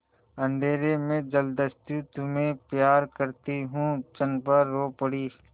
अंधेर है जलदस्यु तुम्हें प्यार करती हूँ चंपा रो पड़ी